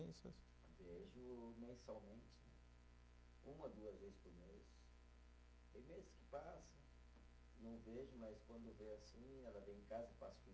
Vejo mensalmente, uma, duas vezes por mês, tem meses que passa, não vejo, mas quando vê assim, ela vem em casa, passa o